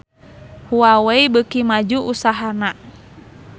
Huawei beuki maju usahana